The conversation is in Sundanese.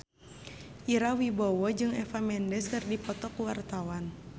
Ira Wibowo jeung Eva Mendes keur dipoto ku wartawan